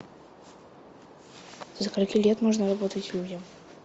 со скольки лет можно работать людям